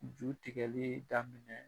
Ju tigɛli daminɛ